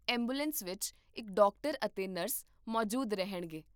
ambulance ਵਿੱਚ ਇੱਕ doctor ਅਤੇ ਨਰਸ ਮੌਜੂਦ ਰਹਿਣਗੇ